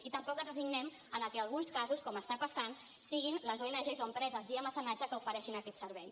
i tampoc ens resignem a que en alguns casos com està passant siguin les ong o empreses via mecenatge que ofereixin aquest servei